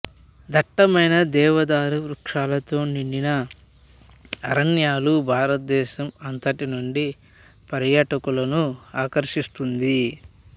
దట్టమైన దేవదారు వృక్షాలతో నిండిన అరణ్యాలు భారతదేశం అంతటి నుండి ప్స్ర్యాటకులను ఆకర్షిస్తుంది